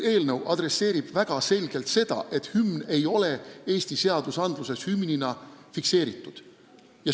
Eelnõu adresseerib väga selgelt seda, et meie hümn ei ole Eesti seadustes hümnina fikseeritud.